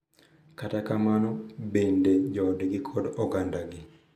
Kata kamano, bende joodgi kod ogandagi.